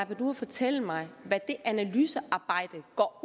panduro fortælle mig hvad det analysearbejde går